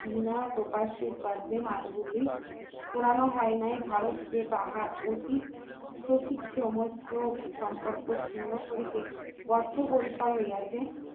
পোড়ানো হয় নাই ভারতে তাহার অতীত সঠিক সময় সম্পর্ক ছিন্ন করিতে বদ্ধপরিকর হইয়াছে